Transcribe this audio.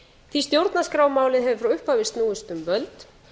því stjórnarskrármálið hefur frá upphafi snúist um völd